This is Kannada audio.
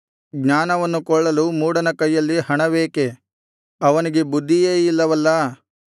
ಜ್ಞಾನವನ್ನು ಕೊಳ್ಳಲು ಮೂಢನ ಕೈಯಲ್ಲಿ ಹಣವೇಕೆ ಅವನಿಗೆ ಬುದ್ಧಿಯೇ ಇಲ್ಲವಲ್ಲಾ